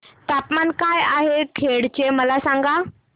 तापमान काय आहे खेड चे मला सांगा